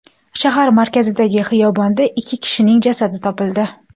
Shahar markazidagi xiyobonda ikki kishining jasadi topildi.